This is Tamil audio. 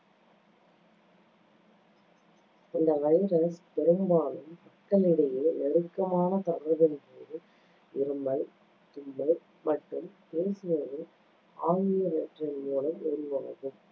இந்த virus பெரும்பாலும் மக்களிடையே நெருக்கமான தொடர்பின்போது இருமல், தும்மல் மற்றும் பேசுவது ஆகியவற்றின் மூலம் உருவாகும்